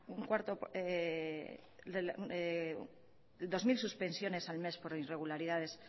dos mil suspensiones al mes por irregularidades